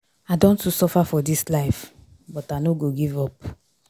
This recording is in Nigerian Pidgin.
I don too suffer for dis life but I no dey give up.